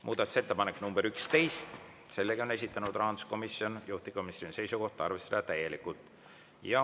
Muudatusettepanek nr 11, sellegi on esitanud rahanduskomisjon, juhtivkomisjoni seisukoht on arvestada täielikult.